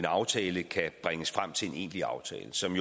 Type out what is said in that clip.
aftale kan bringes frem til en egentlig aftale som